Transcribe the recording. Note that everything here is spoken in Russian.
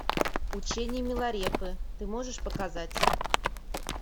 учение миларепы ты можешь показать